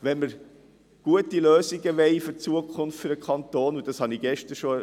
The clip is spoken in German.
Wenn wir gute Lösungen wollen für die Zukunft des Kantons, dann müssen wir einander zuhören.